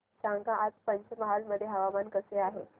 सांगा आज पंचमहाल मध्ये हवामान कसे आहे